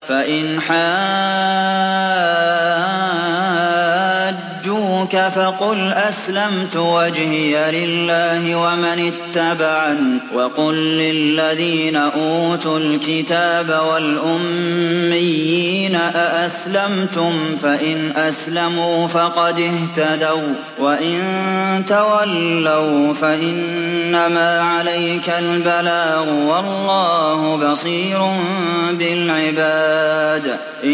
فَإِنْ حَاجُّوكَ فَقُلْ أَسْلَمْتُ وَجْهِيَ لِلَّهِ وَمَنِ اتَّبَعَنِ ۗ وَقُل لِّلَّذِينَ أُوتُوا الْكِتَابَ وَالْأُمِّيِّينَ أَأَسْلَمْتُمْ ۚ فَإِنْ أَسْلَمُوا فَقَدِ اهْتَدَوا ۖ وَّإِن تَوَلَّوْا فَإِنَّمَا عَلَيْكَ الْبَلَاغُ ۗ وَاللَّهُ بَصِيرٌ بِالْعِبَادِ